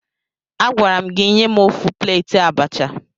Agwara m gị nye m ofu pleeti abacha!